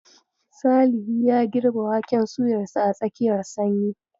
Salihi ya girbe waken suyarsa a tsakiyar sanyi.